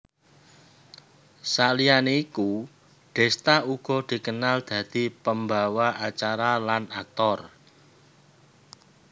Saliyané iku Desta uga dikenal dadi pembawa acara lan aktor